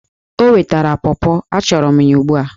O wetara pọpọ! achọrọ m ya ugbu a!